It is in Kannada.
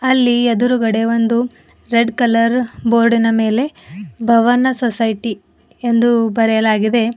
ಅಲ್ಲಿ ಎದುರುಗಡೆ ಒಂದು ರೆಡ್ ಕಲರ್ ಬೋರ್ಡಿನ ಮೇಲೆ ಭವನ ಸೊಸೈಟಿ ಎಂದು ಬರೆಯಲಾಗಿದೆ.